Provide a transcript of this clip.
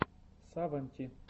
савонти